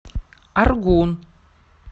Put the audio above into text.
аргун